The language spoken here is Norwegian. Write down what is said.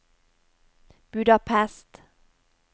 Budapest